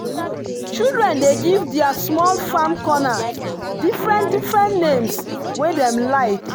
children dey give their small farm corner different-different names wey dem like.